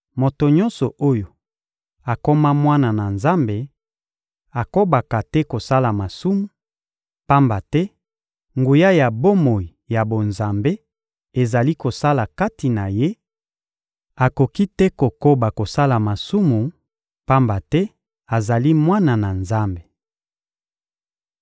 Moto nyonso oyo akoma mwana na Nzambe akobaka te kosala masumu, pamba te nguya ya bomoi ya bonzambe ezali kosala kati na ye; akoki te kokoba kosala masumu, pamba te azali mwana na Nzambe.